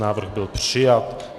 Návrh byl přijat.